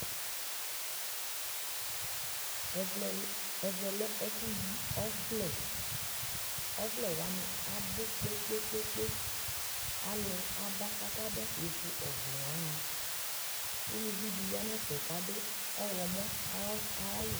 ɛvɛ lɛ ɛƒʋ yi ɔvlɛ, ɔvlɛ wani abʋ kpekpekpe alʋ aba kʋ aba kɛ vʋ ɔvlɛ wani, ʋlʋvi di yanʋ ɛƒɛ kʋ adʋ ɔwlɔmʋ ayi awʋ